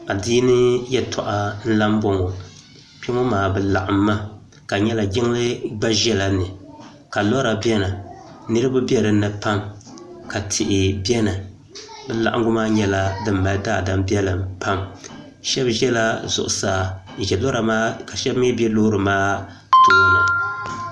Adiini yɛltɔɣa n-la m-bɔŋɔ kpe ŋɔ maa bɛ laɣim mi ka di nyɛla Jiŋli gba ʒela ni ka lɔra beni niriba be din ni pam ka tihi beni bɛ laɣingu maa nyɛla din mali daadam' biɛlim pam shɛba ʒela zuɣusaa ka shɛba mi be lɔra maa tooni.